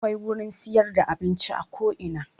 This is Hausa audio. Akwai gurin siyar da abinci a ko ina